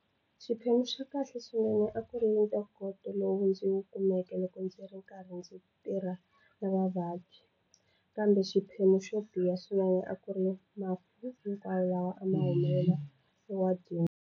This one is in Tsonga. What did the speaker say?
Xiphemu xa kahle swinene a ku ri ntokoto lowu ndzi wu kumeke loko ndzi ri karhi ndzi tirha na vavabyi, kambe xiphemu xo biha swinene a ku ri mafu hinkwawo lama a ma humelela ewadini.